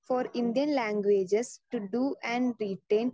speaker 2 for Indian languages to to and retain